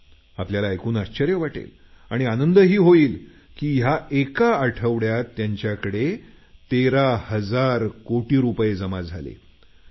आपल्याला ऐकून आश्चर्य वाटेल आणि आनंदही होईल या एका आठवड्यात त्यांच्याकडे 13 हजार कोटी रुपये जमा झालेत